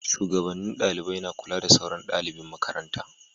Shugabannin dalibai na kula da sauran dalibin makaranta